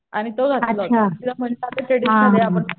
आणि तो घातला होता ट्रॅडिशनल